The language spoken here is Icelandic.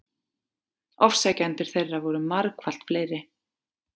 Ofsækjendur þeirra voru margfalt fleiri.